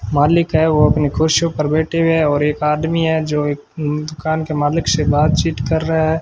मालिक है वो अपनी कुर्सियों पर बैठे हुए हैं और एक आदमी है जो एक दुकान के मालिक से बातचीत कर रहा है।